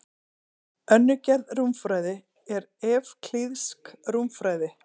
Önnur gerð rúmfræði er evklíðsk rúmfræði.